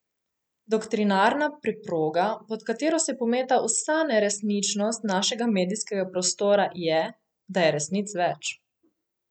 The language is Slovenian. Doktrinarna preproga, pod katero se pometa vsa neresničnost našega medijskega prostora, je, da je resnic več.